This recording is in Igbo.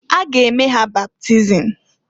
A ga eme ha baptism.